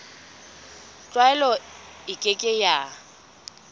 tlwaelo e ke ke ya